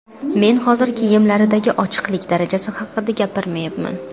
Men hozir kiyimlardagi ochiqlik darajasi haqida gapirmayapman.